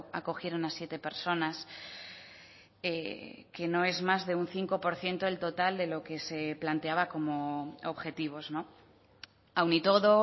acogieron a siete personas que no es más de un cinco por ciento del total de lo que se planteaba como objetivos aun y todo